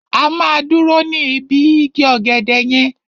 A máa dúró ní ibi igi ọ̀gẹ̀dẹ̀ yẹn.